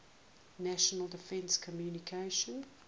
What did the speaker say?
national defense commission